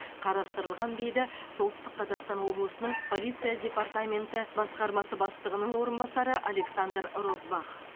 қарастырылған дейді солтүстік қазақстан облысының полиция департаменті басқармасы бастығының орынбасары александр розбах